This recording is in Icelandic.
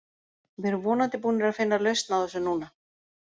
Við erum vonandi búnir að finna lausn á þessu núna.